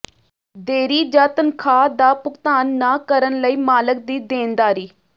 ਦੇਰੀ ਜ ਤਨਖਾਹ ਦਾ ਭੁਗਤਾਨ ਨਾ ਕਰਨ ਲਈ ਮਾਲਕ ਦੀ ਦੇਣਦਾਰੀ